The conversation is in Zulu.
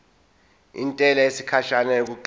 intela yesikhashana yokuqala